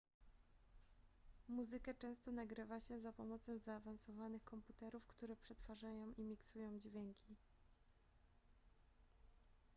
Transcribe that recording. muzykę często nagrywa się za pomocą zaawansowanych komputerów które przetwarzają i miksują dźwięki